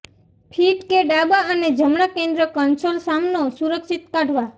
fit કે ડાબા અને જમણા કેન્દ્ર કન્સોલ સામનો સુરક્ષિત કાઢવા